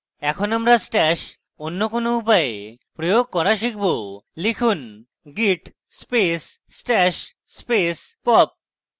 এখন আমরা stash অন্য কোন উপায়ে প্রয়োগ করা শিখব লিখুন: git space stash space pop